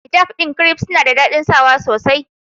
Hijab ɗin kiref suna da daɗin sawa sosai.